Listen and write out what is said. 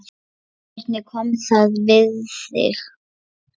Hvernig kom það við þig?